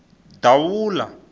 davula